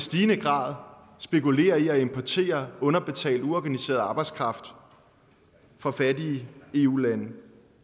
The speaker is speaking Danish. stigende grad spekulerer i at importere underbetalt uorganiseret arbejdskraft fra fattige eu lande